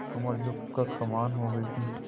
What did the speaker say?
कमर झुक कर कमान हो गयी थी